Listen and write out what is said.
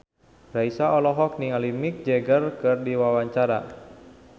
Raisa olohok ningali Mick Jagger keur diwawancara